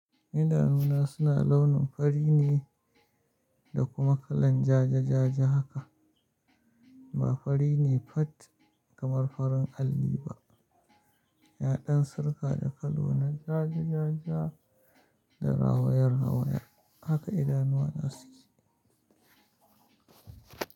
Idanuna suna launin fari ne da kuma kalan ja-ja-ja-ja haka. Ba fari ne fat kamar farin alli ba. Yaɗan sirka da kallo na ja-ja-ja-ja da rawayar rawayar haka idanuwa suke.